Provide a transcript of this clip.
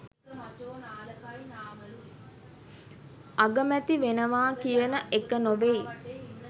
අගමැති වෙනවා කියන එක නොවෙයි.